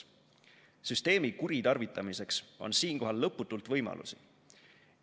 Süsteemi kuritarvitamiseks on siinkohal lõputult võimalusi.